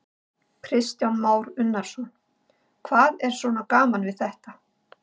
Kristján Már Unnarsson: Hvað er svona gaman við þetta?